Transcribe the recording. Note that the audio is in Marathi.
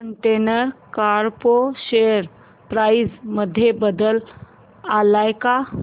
कंटेनर कॉर्प शेअर प्राइस मध्ये बदल आलाय का